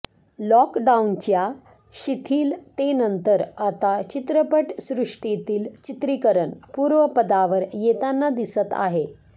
लॉकडाउनच्या शिथिलतेनंतर आता चित्रपट सृष्टीतील चित्रिकरण पूर्वपदावर येताना दिसत आहे